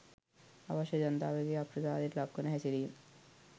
අවශ්‍ය ජනතාවගේ අප්‍රසාදයට ලක්වන හැසිරීම